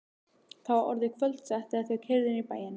Það var orðið kvöldsett þegar þau keyrðu inn í bæinn.